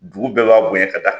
Dugu bɛɛ b'a bonya ka taa.